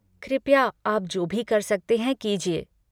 कृपया आप जो भी कर सकते हैं, कीजिए।